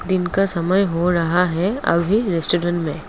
दिन का समय हो रहा है अभी रेस्टोरेंट में।